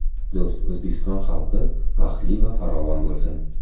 Do‘st O‘zbekiston xalqi baxtli va farovon bo‘lsin!